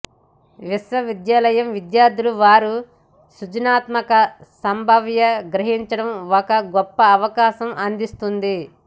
విశ్వవిద్యాలయం విద్యార్థులు వారి సృజనాత్మక సంభావ్య గ్రహించడం ఒక గొప్ప అవకాశం అందిస్తుంది